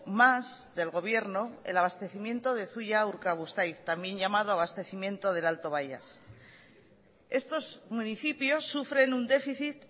más del gobierno el abastecimiento de zuia urkabustaiz también llamado abastecimiento del alto baias estos municipios sufren un déficit